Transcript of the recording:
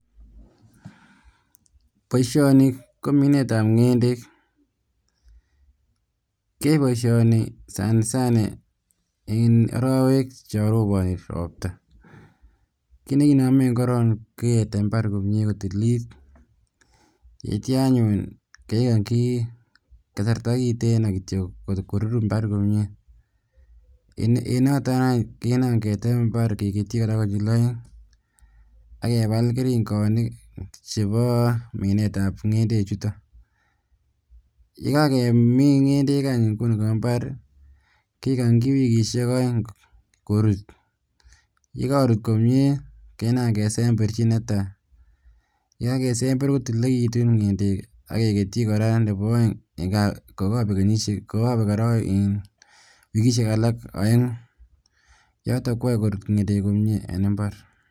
Boisioni kominetab ngendek kiyoe boisioni sana sana en orowek chon roboni ropta kinekinomen korong koketem imbaret komie kotililit, itio anyun kegonji kasarta kiten korur imbaret komie en noton any kinam ketem imbar keketyi ak kebal keringoni nebo minetab ngendechuton ye kakemin ngendek en imbar kegonji wikisiek oeng korut yekorut komie kesemberji netai ye kakesember kotililekitun ngendek ak keketyi nebo oeng kokobek wikisiek alak oengu niton koyoe korut ngendek en imbar.